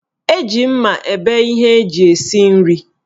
Eji mma ebe ihe eji esi nri